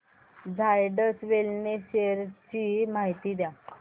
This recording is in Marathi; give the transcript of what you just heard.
झायडस वेलनेस शेअर्स ची माहिती द्या